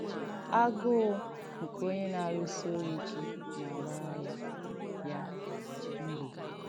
“Agụ́ụ̀ nke Onye Nà-àrụ́sí Ọrụ́ Íke Nà-àgbàrà Ya Ya Mbò.”